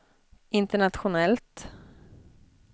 internationellt